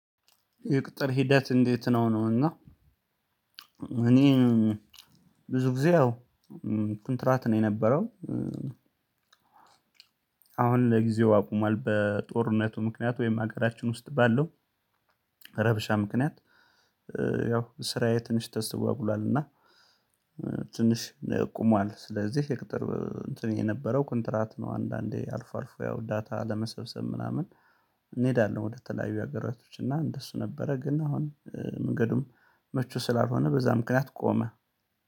የቅጥር ሂደት እንዴት ነው? ነው እና እኔ ብዙ ጊዜ ኩንትራት ነው የነበረው አሁን ለጊዜው አቁሟል በጦርነቱ ምክንያት ወይም ሀገራችን ውስጥ ባለው ረብሻ ምክንያት ያው ስራዬ ትንሽ ተስተጓግሏል እና ትንሽ ቁሟል ስለዚህ ሄክተር እንትን የነበረው ኩንትራት ነው አንዳንዴ አልፎ አልፎ ያው ዳታ ለመሰብሰብ ምናምን እንሄዳለን። ወደ ተለያዩ ሀገራቶች እና እንደሱ ነበረ ግን አሁን መንገዱም ምቹ ስላልሆነ በዛ ምክንያት ቆመ።